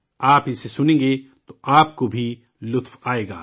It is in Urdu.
آپ اسے سنیں گے تو آپ کو بھی مزہ آئے گا